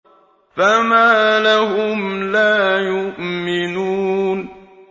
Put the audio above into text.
فَمَا لَهُمْ لَا يُؤْمِنُونَ